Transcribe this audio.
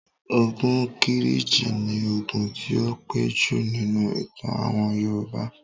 Ogun Kírìjí ni ogun tí ó pẹ́ jù nínú ìtàn àwọn Yorùbá.